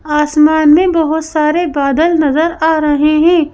आसमान में बहुत सारे बादल नजर आ रहे हैं।